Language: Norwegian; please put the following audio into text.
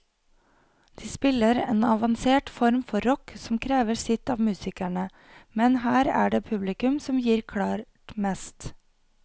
De spiller en avansert form for rock som krever sitt av musikerne, men her er det publikum som gir klart mest.